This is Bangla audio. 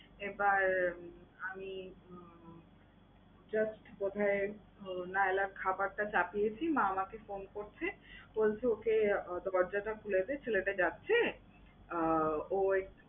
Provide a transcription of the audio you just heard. এবার আমি উম just বোধহয় নায়লার খাবারটা চাপিয়েছি, মা আমাকে phone করছে বলছে ওকে দরজাটা খুলে দে ছেলেটা যাচ্ছে। অ্যা ঐ